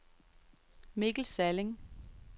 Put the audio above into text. Mikkel Salling